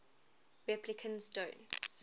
replicants don't